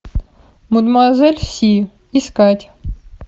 мадемуазель си искать